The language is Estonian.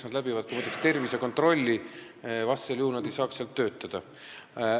Nad teevad, muide, läbi ka tervisekontrolli, vastasel juhul nad ei saaks seal töötada.